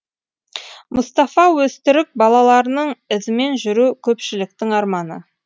мұстафа өзтүрік бабаларының ізімен жүру көпшіліктің арманы